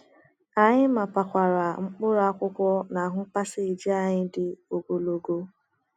Anyị mapawara mkpụrụ akwụkwọ n’ahụ paseji anyị dị ogologo.